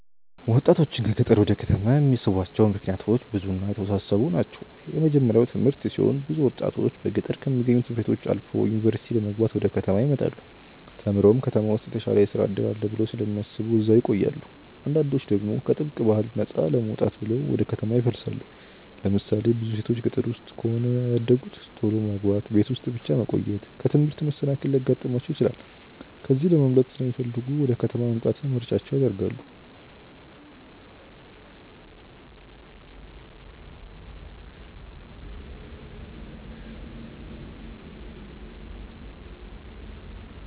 ወጣቶችን ከገጠር ወደ ከተማ የሚስቧቸው ምክንያቶች ብዙ እና የተወሳሰቡ ናቸው። የመጀመርያው ትምህርት ሲሆን ብዙ ወጣቶች በገጠር ከሚገኙ ት/ቤቶች አልፈው ዩኒቨርሲቲ ለመግባት ወደ ከተማ ይመጣሉ። ተምረውም ከተማ ውስጥ የተሻለ የስራ እድል አለ ብለው ስለሚያስቡ እዛው ይቆያሉ። አንዳንዶች ደግሞ ከጥብቅ ባህል ነፃ ለመውጣት ብለው ወደ ከተማ ይፈልሳሉ። ለምሳሌ ብዙ ሴቶች ገጠር ውስጥ ከሆነ ያደጉት ቶሎ ማግባት፣ ቤት ውስጥ ብቻ መቆየት፣ ከትምህርት መሰናከል ሊያጋጥማቸው ይችላል። ከዚህ ለማምለጥ ሲለሚፈልጉ ወደ ከተማ መምጣትን ምርጫቸው ያደርጋሉ።